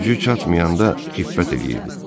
Gücü çatmayanda xiffət eləyirdi.